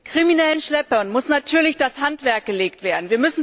Kriminellen Schleppern muss natürlich das Handwerk gelegt werden.